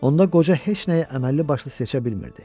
Onda qoca heç nəyi əməlli başlı seçə bilmirdi.